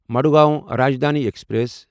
Madgaon Rajdhani express